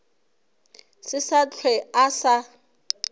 se sa hlwe a sa